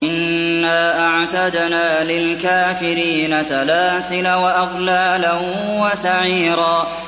إِنَّا أَعْتَدْنَا لِلْكَافِرِينَ سَلَاسِلَ وَأَغْلَالًا وَسَعِيرًا